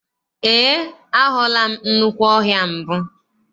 Eé, ahụla m nnukwu ọhịa mbụ.